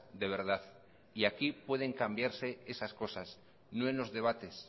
de verdad y aquí pueden cambiarse esas cosas no en los debates